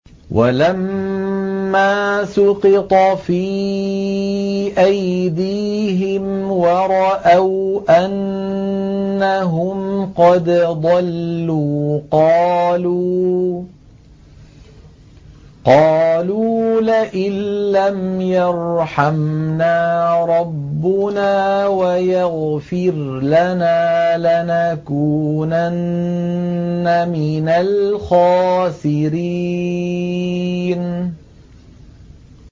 وَلَمَّا سُقِطَ فِي أَيْدِيهِمْ وَرَأَوْا أَنَّهُمْ قَدْ ضَلُّوا قَالُوا لَئِن لَّمْ يَرْحَمْنَا رَبُّنَا وَيَغْفِرْ لَنَا لَنَكُونَنَّ مِنَ الْخَاسِرِينَ